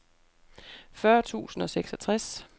fyrre tusind og seksogtres